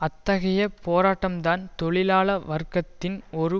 அத்தகைய போராட்டம் தான் தொழிலாள வர்க்கத்தின் ஒரு